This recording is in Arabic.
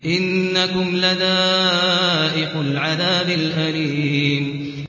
إِنَّكُمْ لَذَائِقُو الْعَذَابِ الْأَلِيمِ